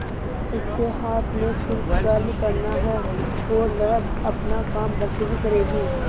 उसके हाथ में सिर्फ कर्म करना है और वह अपना काम बखूबी करेगी